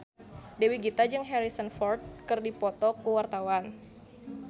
Dewi Gita jeung Harrison Ford keur dipoto ku wartawan